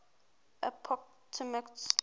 appomattox